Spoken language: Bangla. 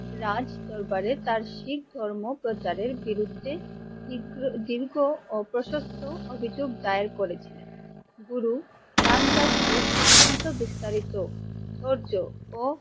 রাজ্ দরবারে তার শিখ ধর্ম প্রচারের বিরুদ্ধে ধিগ্র দীর্ঘ ও প্রশস্ত অভিযোগ দায়ের করেছিল। গুরু রামদাসজীর অতন্ত বিস্তারিত ধৈর্য ও,